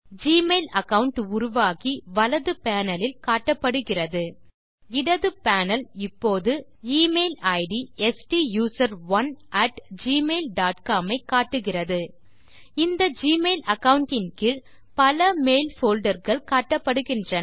Gmail account உருவாகி வலது panel லில் காட்டப்படுகிறது இடது பேனல் இப்போது email id stusaron at Gmail dot com ஐ காட்டுகிறது இந்த ஜிமெயில் அகாவுண்ட் இன் கீழ் பல மெயில் போல்டர் கள் காட்டப்படுகின்றன